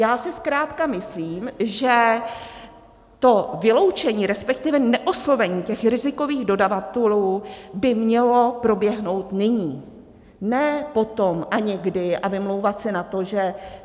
Já si zkrátka myslím, že to vyloučení, respektive neoslovení těch rizikových dodavatelů by mělo proběhnout nyní, ne potom a někdy, a vymlouvat se na to, že.